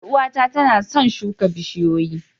Yar uwata tana son shuka bishiyoyi